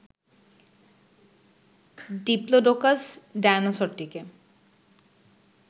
Diplodocus ডায়নোসরটিকে